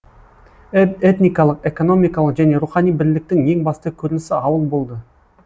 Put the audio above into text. этникалық экономикалық және рухани бірліктің ең басты көрінісі ауыл болды